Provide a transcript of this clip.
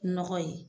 Nɔgɔ ye